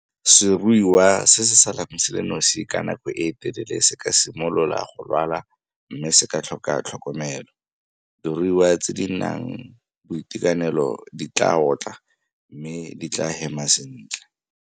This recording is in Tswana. Seruiwa se se salang se le nosi ka nako e telele se ka simolola go lwala mme se ka tlhoka tlhokomelo. Diruiwa tse di nang boitekanelo di tla otla mme di tla hema sentle.